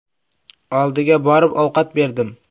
Oldiga borib, ovqat berdim.